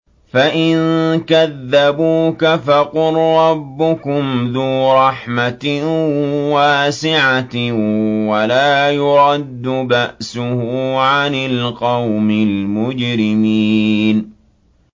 فَإِن كَذَّبُوكَ فَقُل رَّبُّكُمْ ذُو رَحْمَةٍ وَاسِعَةٍ وَلَا يُرَدُّ بَأْسُهُ عَنِ الْقَوْمِ الْمُجْرِمِينَ